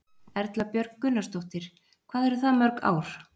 Erla Björg Gunnarsdóttir: Hvað eru það mörg ár?